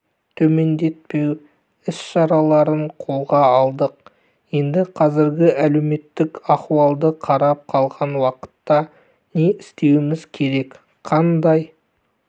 төмендетпеу іс-шараларын қолға алдық енді қазіргі әлеуметтік аіуалды қарап қалған уақытта не істеуіміз керек қандай